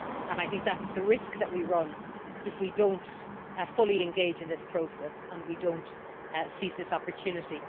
I think that is the risk that we run if we do not fully engage in this process and seize this opportunity.